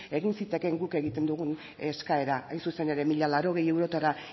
egin zitekeen guk egiten dugun eskaera hain zuzen ere mila laurogei eurotara